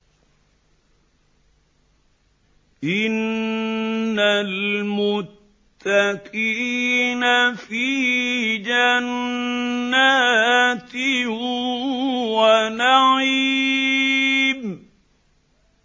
إِنَّ الْمُتَّقِينَ فِي جَنَّاتٍ وَنَعِيمٍ